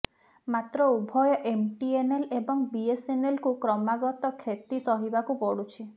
ମାତ୍ର ଉଭୟ ଏମଟିଏନଏଲ୍ ଏବଂ ବିଏସଏନଏଲକୁ କ୍ରମାଗତ କ୍ଷତି ସହିବାକୁ ପଡ଼ୁଛି